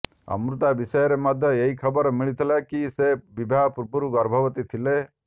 ଅମୃତା ବିଷୟରେ ମଧ୍ୟ ଏହି ଖବର ମିଳିଥିଲା କି ସେ ବିବାହ ପୂର୍ବରୁ ଗର୍ଭବତୀ ଥିଲେ